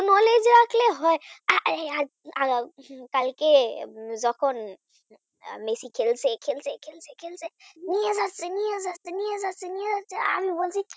Excitement হয় কালকে যখন মেসি খেলছে এ খেলছে ও খেলছে নিয়ে গেছে নিয়ে যাচ্ছে নিয়ে যাচ্ছে আমি বলছি